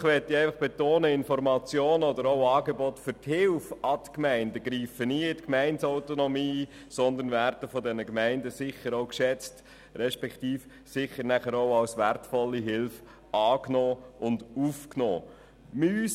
Diesbezüglich möchte ich betonen, dass Informationen aber auch Angebote der Hilfe für die Gemeinden nie in die Gemeindeautonomie eingreifen, sondern von den Gemeinden sicher auch geschätzt respektive als wertvolle Hilfe angenommen und aufgenommen werden.